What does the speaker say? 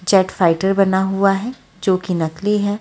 जट fighter बना हुआ है जो की नकली है।